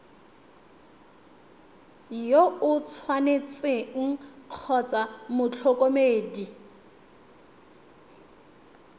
yo o tshwanetseng kgotsa motlhokomedi